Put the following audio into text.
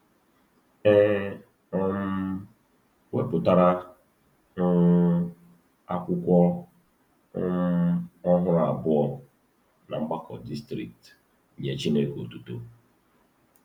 E um wepụtara um akwụkwọ um ọhụrụ abụọ na Mgbakọ Distrikti “Nye Chineke Otuto.”